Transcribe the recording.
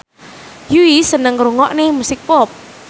Yui seneng ngrungokne musik pop